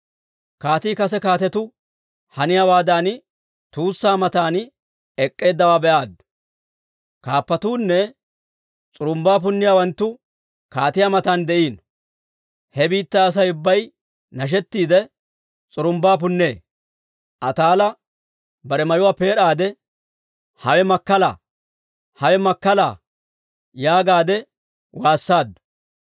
Kaatii kase kaatetuu haniyaawaadan tuussaa matan ek'k'eeddawaa be'aaddu. Kaappatuunne s'urumbbaa punniyaawanttu kaatiyaa matan de'iino; he biittaa Asay ubbay nashettiidde, s'urumbbaa punnee. Ataala bare mayuwaa peed'aade, «Hawe makkala! Hawe makkala!» yaagaadde waassaaddu.